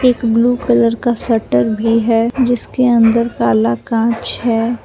एक blue colour का shutter भी है जिसके अंदर काला कांच है।